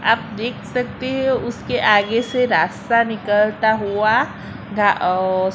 आप देख सकते हैं उसके आगे से रास्ता निकलता हुआ घा औ--